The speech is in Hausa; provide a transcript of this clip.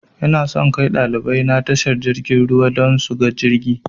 Inason kai ɗalibai na tashar jirgin ruwa dan suga jirgi